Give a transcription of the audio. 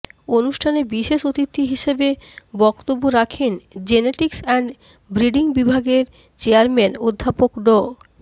অনুষ্ঠানে বিশেষ অতিথি হিসেবে বক্তব্য রাখেন জেনেটিক্স অ্যান্ড ব্রিডিং বিভাগের চেয়ারম্যান অধ্যাপক ড